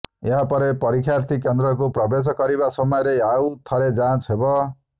ଏହାପରେ ପରୀକ୍ଷାର୍ଥୀ କେନ୍ଦ୍ରକୁ ପ୍ରବେଶ କରିବା ସମୟରେ ଆଉ ଥରେ ଯାଞ୍ଚ ହେବ